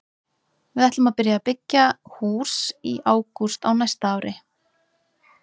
Við ætlum að byrja að byggja í hús í ágúst á næsta ári.